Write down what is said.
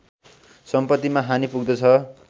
सम्पत्तिमा हानि पुग्दछ